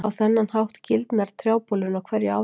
Á þennan hátt gildnar trjábolurinn á hverju ári.